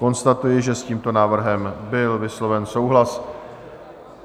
Konstatuji, že s tímto návrhem byl vysloven souhlas.